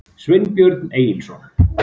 Sveinbjörn Egilsson.